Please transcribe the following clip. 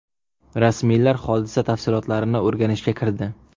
Rasmiylar hodisa tafsilotlarini o‘rganishga kirdi.